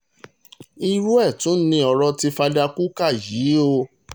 irú ẹ̀ tún ni ọ̀rọ̀ ti fada kukah yìí o